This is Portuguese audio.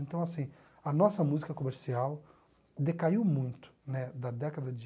Então, assim, a nossa música comercial decaiu muito né da década de...